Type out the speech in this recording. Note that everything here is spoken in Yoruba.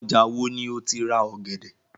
Ọjà wo ni o ti rà ọ̀gẹ̀dẹ̀?